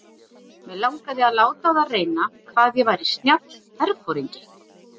Mig langaði að láta á það reyna hvað ég væri snjall herforingi.